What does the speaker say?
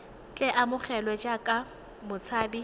tle a amogelwe jaaka motshabi